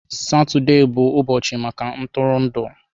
Satọde bụbu ụbọchị maka ntụrụndụ.